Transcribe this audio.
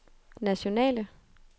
nationale